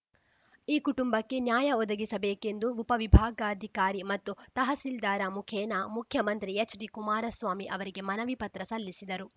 ಈ ಕುಟುಂಬಕ್ಕೆ ನ್ಯಾಯ ಒದಗಿಸಬೇಕೆಂದು ಉಪವಿಭಾಗಾಧಿಕಾರಿ ಮತ್ತು ತಹಸೀಲ್ದಾರ ಮುಖೇನ ಮುಖ್ಯಮಂತ್ರಿ ಎಚ್‌ಡಿ ಕುಮಾರಸ್ವಾಮಿ ಅವರಿಗೆ ಮನವಿ ಪತ್ರ ಸಲ್ಲಿಸಿದರು